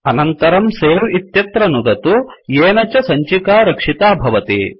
अनन्तरं सवे इत्यत्र नुदतु येन च सञ्चिका रक्षिता भवति